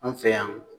An fɛ yan